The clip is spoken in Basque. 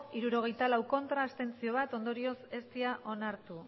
hirurogeita lau ez bat abstentzio ondorioz ez dira onartu